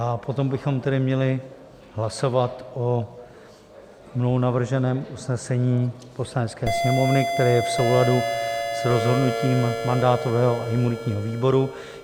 A potom bychom tedy měli hlasovat o mnou navrženém usnesení Poslanecké sněmovny, které je v souladu s rozhodnutím mandátového a imunitního výboru.